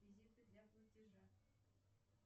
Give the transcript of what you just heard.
реквизиты для платежа